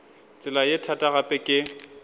tsela ye thata gape ke